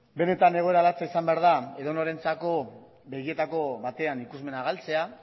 benetan egoera latza izan behar da edonorentzako begietako batean ikusmena galtzea